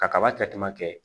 Ka kaba kɛ kuma kɛ